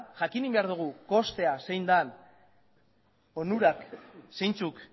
jakin behar dugu kostua zein den onurak zeintzuk